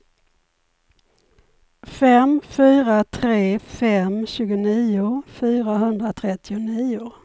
fem fyra tre fem tjugonio fyrahundratrettionio